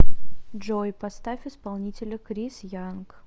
джой поставь исполнителя крис янг